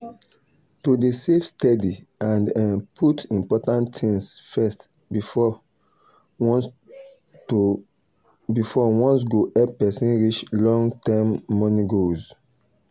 to dey save steady and um put important things first before wants go help person reach long-term money goals.